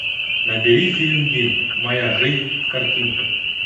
набери фильм дин моя жизнь в картинках